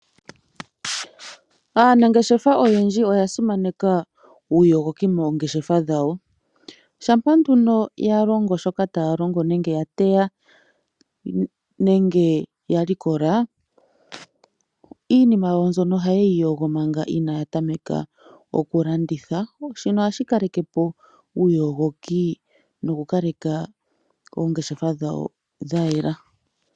Aanangeshefa oyendji oya simaneka uuyogoki mongeshefa dhawo. Shampa nduno ya longo shoka taya longo nenge ya teya nenge ya likola shoka taya longo, iinima yawo ohaye yi yogo manga inaaya tameka oku landitha. Shino ohashi kaleke po uuyogoki, noku kaleka oongeshefa dhawo dha yela.